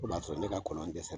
O b' a sɔrɔ ne ka konɔn dɛsɛ